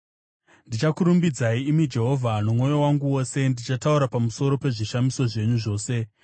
Ndichakurumbidzai, imi Jehovha, nomwoyo wangu wose; ndichataura pamusoro pezvishamiso zvenyu zvose.